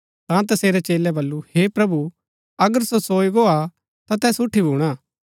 ता तसेरै चेलै बल्लू हे प्रभु अगर सो सोई गो हा ता तैस उठी भूणा